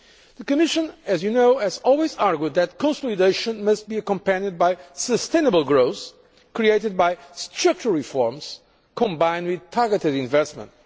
The Commission, as you know, has always argued that consolidation must be accompanied by sustainable growth created by structural reforms combined with targeted investment.